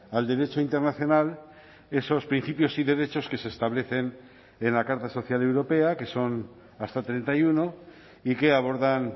al derecho internacional esos principios y derechos que se establecen en la carta social europea que son hasta treinta y uno y que abordan